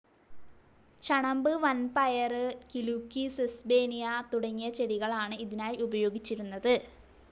ചണമ്പ്, വൻപയറ്, കിലുക്കി, സെസ്ബേനിയ തുടങ്ങിയ ചെടികളാണ് ഇതിനായി ഉപയോഗിച്ചിരുന്നത്.